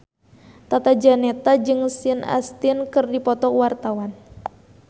Tata Janeta jeung Sean Astin keur dipoto ku wartawan